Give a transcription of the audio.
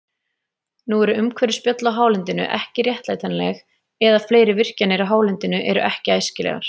Svarið við fyrri hluta spurningarinnar ræðst því af aðstæðum.